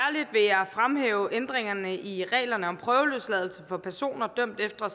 vil jeg fremhæve ændringerne i reglerne om prøveløsladelse for personer dømt efter